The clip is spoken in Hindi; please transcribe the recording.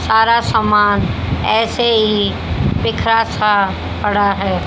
सारा सामान ऐसे ही बिखरा सा पड़ा है।